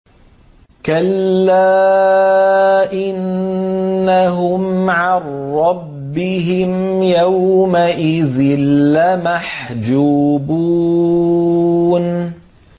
كَلَّا إِنَّهُمْ عَن رَّبِّهِمْ يَوْمَئِذٍ لَّمَحْجُوبُونَ